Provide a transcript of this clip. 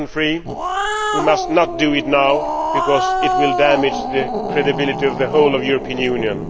2003 we must not do it now because it will damage the credibility of the whole of the European Union.